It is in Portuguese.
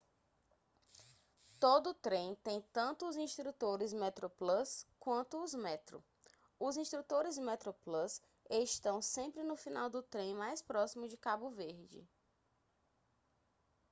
todo trem tem tanto os instrutores metroplus quanto os metro os instrutores metroplus estão sempre no final do trem mais próximo de cabo verde